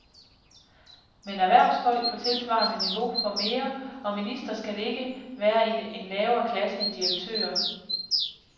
Men erhvervsfolk på tilsvarende niveau får mere, og ministre skal ikke være i en lavere klasse end direktører.